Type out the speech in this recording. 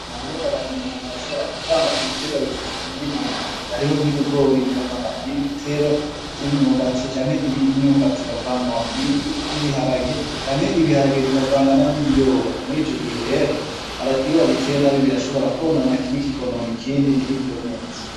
Mu Burundi umuntu arashobora kuvanga ibiterwa mu murima umwe, hariho nk'ibigori bikavangana n'ibiterwa vy'imyumbati canke imyumbati bikavangana n'ibiharage canke ibiharage bikavangana n'ibiyoba, muri ico gihe rero iyo wabiteye nabi birashobora kwonona kimwe kikonona ikindi ntibikure neza.